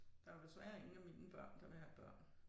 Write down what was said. Der jo desværre ingen af mine børn der vil have børn